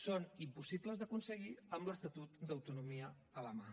són impossibles d’aconseguir amb l’estatut d’autonomia a la mà